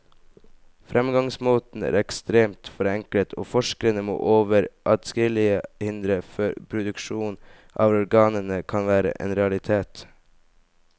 Fremgangsmåten er ekstremt forenklet, og forskerne må over adskillige hindre før produksjon av organene kan være en realitet.